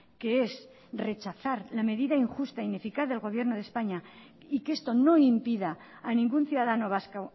que es rechazar la medida injusta ineficaz del gobierno de españa y que esto no impida a ningún ciudadano vasco